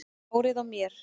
Hárið á mér?